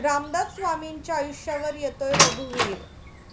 रामदास स्वामींच्या आयुष्यावर येतोय 'रघुवीर'